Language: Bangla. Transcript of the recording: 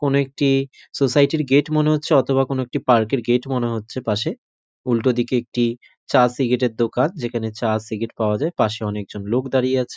কোন একটি সোসাইটি -র গেট মনে হচ্ছে অথবা কোন একটি পার্ক -এর গেট মনে হচ্ছে পাশে উল্টোদিকে একটি চা সিগারেটের দোকান যেখানে চা সিগারেট পাওয়া যায় পাশে অনেকজন লোক দাঁড়িয়ে আছ--